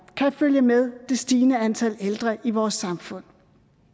kan følge med det stigende antal ældre i vores samfund